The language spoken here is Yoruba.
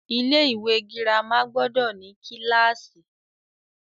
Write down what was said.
Ilé ìwé girama gbọdọ̀ ní kílàsì.